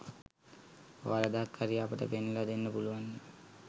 වරදක් හරි අපට පෙන්නලා දෙන්න පුළුන්වන්නේ